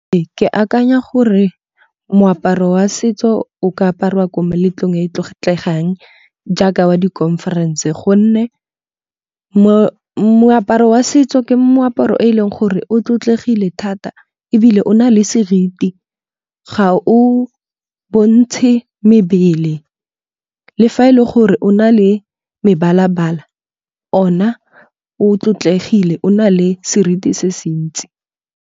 Ee, ke akanya gore moaparo wa setso o ka apariwa ko meletlong e e tlotlegang jaaka wa di-conference-e. Gonne mo moaparo wa setso ke moaparo e leng gore o tlotlegileng thata. Ebile o na le seriti ga o bontshe mebele le fa e le gore o na le mebalabala, o na o tlotlegileng o na le seriti se se ntsi.